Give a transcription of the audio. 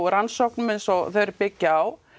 rannsóknum eins og þeir byggja á